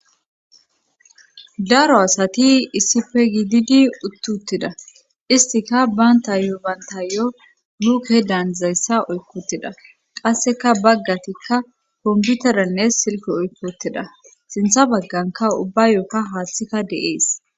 daro asati issife gididi uttuttida istika banta yo banta yo luke daanzayssa oykotida qasseka baggatikka komputeranne silko oykuttida sintha bagganka ubba yookka haassika deees